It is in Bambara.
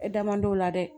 E damadɔ la dɛ